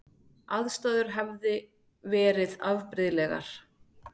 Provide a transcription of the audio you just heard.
Aðstæður hefði verið afbrigðilegar